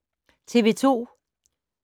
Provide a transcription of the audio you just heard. TV 2